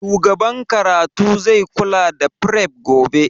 Shugaban karatu zai kula da fref gobe